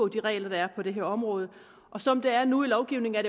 de regler der er på det her område og som det er nu i lovgivningen er